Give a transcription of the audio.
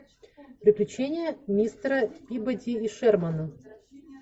приключения мистера пибоди и шермана